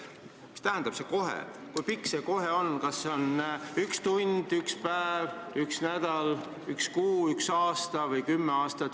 Mis tähendab see "kohe", kui pikk see "kohe" on, kas see on üks tund, üks päev, üks nädal, üks kuu, üks aasta või kümme aastat?